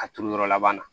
A turu yɔrɔ laban na